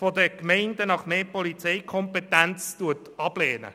der Gemeinden nach mehr Polizeikompetenz ablehnt.